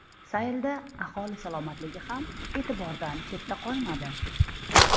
Saylda aholi salomatligi ham e’tibordan chetda qolmadi.